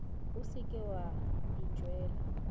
o se ke wa itšeela